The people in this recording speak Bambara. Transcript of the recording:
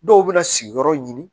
Dɔw bɛ na sigiyɔrɔ ɲini